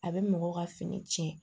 A bɛ mɔgɔ ka fini cɛn